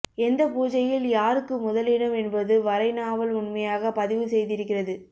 எந்த பூஜையில் யாருக்கு முதலிடம் என்பது வரை நாவல் உண்மையாக பதிவு செய்திருக்கிறது